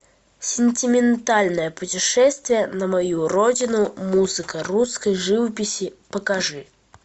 сентиментальное путешествие на мою родину музыка русской живописи покажи